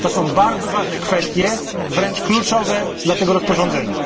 To są bardzo ważne kwestie, wręcz kluczowe dla tego rozporządzenia.